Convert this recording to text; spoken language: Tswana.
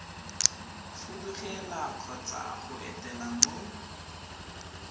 fudugela kgotsa go etela mo